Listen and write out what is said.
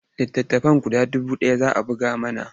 Littattafai guda dubu ɗaya za a buga mana.